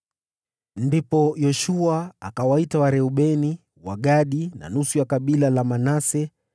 Ndipo Yoshua akawaita Wareubeni, Wagadi na nusu ya kabila la Manase,